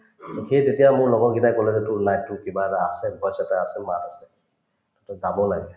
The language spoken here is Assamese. সেই তেতিয়া মোৰ লগৰকিটাই কলে যে তোৰ life তোত কিবা এটা voice এটা আছে মাত আছে তই গাৱ লাগে